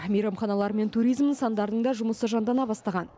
мейрамханалар мен туризм нысандарының да жұмысы жандана бастаған